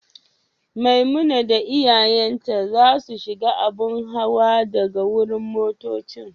Maimuna da iyayen ta za su shiga abun hawa daga wurin motoccin.